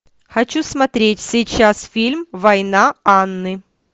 хочу смотреть сейчас фильм война анны